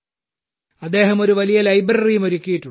അദ്ദേഹം ഒരു വലിയ ലൈബ്രറിയും ഒരുക്കിയിട്ടുണ്ട്